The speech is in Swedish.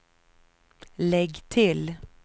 lägg till